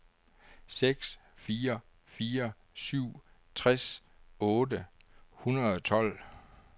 seks fire fire syv tres otte hundrede og tolv